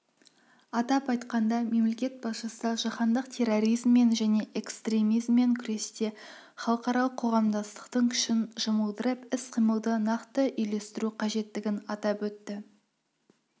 атап айтқанда мемлекет басшысы жаһандық терроризммен және экстремизммен күресте халықаралық қоғамдастықтың күшін жұмылдырып іс-қимылды нақты үйлестіру қажеттігін атап өтті